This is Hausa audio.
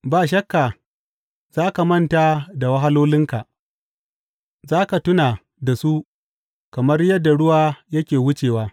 Ba shakka za ka manta da wahalolinka, za ka tuna da su kamar yadda ruwa yake wucewa.